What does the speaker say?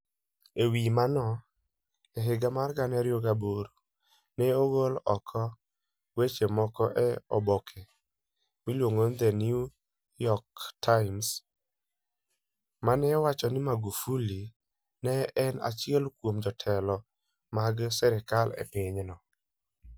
E wi mano, e higa mar 2008, ne ogol oko weche moko e oboke miluongo ni The New York Times, ma ne wacho ni Magufuli ne en achiel kuom jotelo mag sirkal e pinyno.